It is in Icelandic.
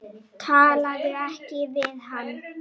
Talaðu ekki við hann.